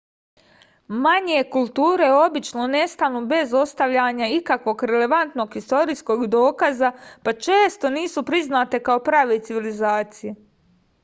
manje kulture obično nestanu bez ostavljanja ikakvog relevantnog istorijskog dokaza pa često nisu priznate kao prave civilizacije